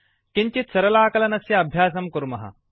किञ्चित् सरलाकलनस्य अभ्यासं कुर्मः